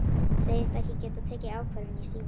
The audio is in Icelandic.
Segist ekki geta tekið ákvörðun í síma.